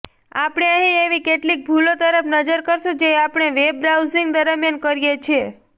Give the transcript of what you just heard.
આપણે અહી એવી કેટલીક ભૂલો તરફ નજર કરશું જે આપણે વેબ બ્રાઉઝીંગ દરમિયાન કરીએ છે